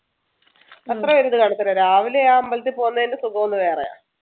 അത്രെ ഒരു ഇത് കാണത്തില്ല. രാവിലെ ആ അമ്പലത്തിൽ പോകുന്നതിന്‍ടെ സുഖം ഒന്ന് വേറെയാ.